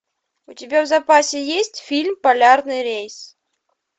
у тебя в запасе есть фильм полярный рейс